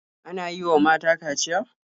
Ana yi wa mata kaciya?